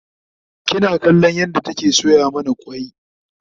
kina kallon yadda take soya mana kwai?